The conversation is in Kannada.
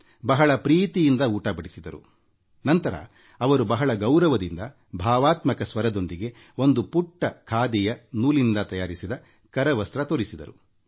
ಬಹಳ ವಾತ್ಸಲ್ಯದಿಂದ ಉಣ ಬಡಿಸಿದರು ನಂತರ ಅವರು ಬಹಳ ಗೌರವದಿಂದ ಭಾವಾತ್ಮಕ ಸ್ವರದೊಂದಿಗೆ ನೂಲಿನಿಂದ ನೇಯ್ದ ಖಾದಿಯ ಒಂದು ಪುಟ್ಟ ಕರವಸ್ತ್ರ ತೋರಿಸಿದರು